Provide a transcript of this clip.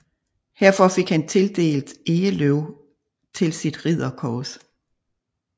Herfor fik han tildelt egeløv til sit ridderkors